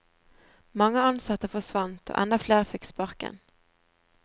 Mange ansatte forsvant, og enda flere fikk sparken.